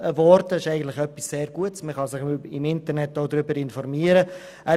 Es ist eine sehr gute Sache, über die man sich auch im Internet informieren kann.